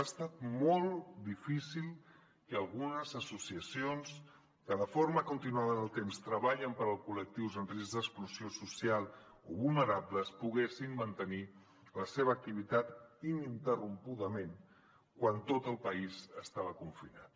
ha estat molt difícil que algunes associacions que de forma continuada en el temps treballen per als col·lectius en risc d’exclusió social o vulnerables poguessin mantenir la seva activitat ininterrompudament quan tot el país estava confinat